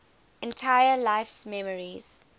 entire life's memories